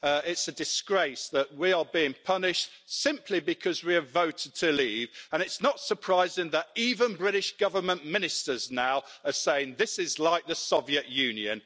It's a disgrace that we are being punished simply because we have voted to leave, and it's not surprising that even British Government ministers now are saying that this is like the Soviet Union.